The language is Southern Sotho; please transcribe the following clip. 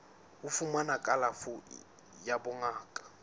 ho fumana kalafo ya bongaka